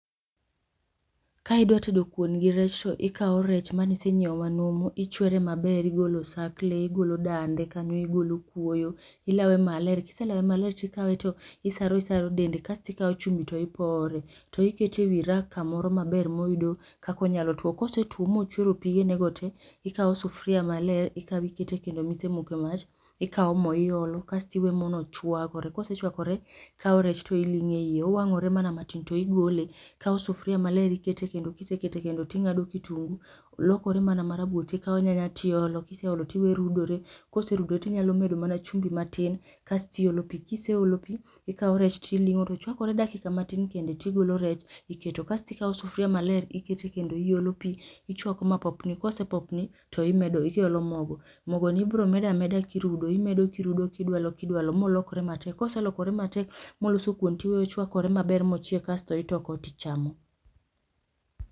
Ka idwa tedo kuon gi rech to ikao rech manisenyieo manumu ichwere maber igolo osakle, igolo dande, igolo kuoyo, ilawe maler kiselawe maler tikawe to isaro isaro dende kastikao chumbi to ipore to ikete ewi rack kamoro maber moyudo kaka onyalo tuwo, kosetuwo mochuero pigenego te, ikao sufuria maler ikao ikete kendo misemoke mach ikao moo iolo kastiweyo mono chwakore. Kosechwekore ikao rech to ilingo e iye, owang'ore mana matin to igole. Ikao sufuria maler ikete kendo kisekete kendo ting'ado kitungu lokore mana marobur tikao nyanya tiolo kiseolo tiwe rudore .Koserudo tinyalo medo mana chumbi matin kastiolo pii kiseolo pii ikao rech tiling'o to chwakore dakika matin kendo tigilo rech iketo kastikao sufuria maler ikete kendo iolo pii ichwako mapopni kosepopni to iolo mogo, mogoni ibromedameda kirudo imedo kirudo imedo kidwalo kidwalo bolokre matek. Koselokore matek moloso kuon tiwe ochwakore maber mochiek asto ichoko tichamo.